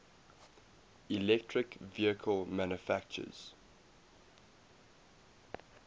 electric vehicle manufacturers